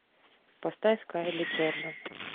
поставь кайли джордан